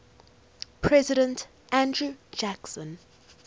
president andrew jackson